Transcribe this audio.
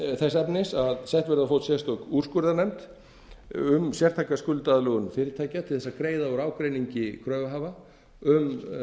þess efnis að sett verði á fót sérstök úrskurðarnefnd um sértæka skuldaaðlögun fyrirtækja til þess að greiða úr ágreiningi kröfuhafa um